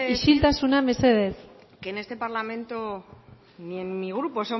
isiltasuna mesedez es verdad que en el este parlamento y en mi grupo